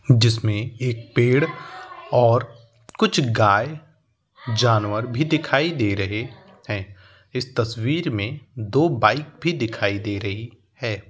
जिसमे एक पेड़ और कुछ गाय जानवर भी दिखाय दे रहे है। इस तस्वीर में दो बाईक भी दिखाई दे रही है।